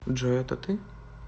джой это ты